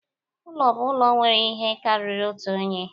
Ụlọ bụ ụlọ nwere ihe karịrị otu onye